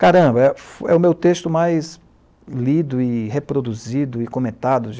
Caramba, é o meu texto mais lido e reproduzido e comentado.